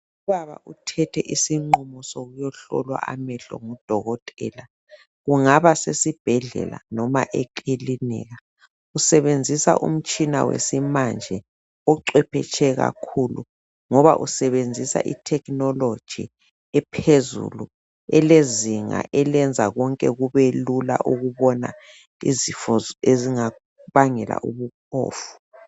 Ubaba uthethe isinqumo sokuyahlolwa amehlo ngudokotela. Kungaba sesibhedlela, noma ekilinika. Usebenzisa umtshina wamanje, ocebetshwe kakhulu. Usebenzisa itechnology, ephezulu. Elezinga, elenza konke kube lula ukubona izifo ezingabangela ubuphofu.